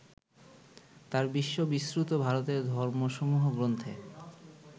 তাঁর বিশ্ববিশ্রুত ‘ভারতের ধর্মসমূহ’ গ্রন্থে